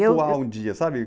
um dia, sabe?